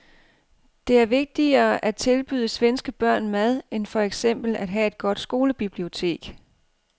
Det er vigtigere at tilbyde svenske børn mad end for eksempel at have et godt skolebibliotek.